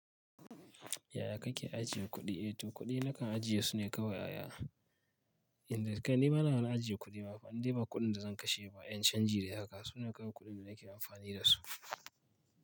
Yaya kake ajiye kuɗi? Eh to kuɗi nakan ajiye su ne kawai aya. Inda kai ni bana wani ajiye kuɗi ma fa, indai ba kuɗin da zan kashe ba, 'yan canji dai haka, sune kawai kuɗin da nake amfani da su.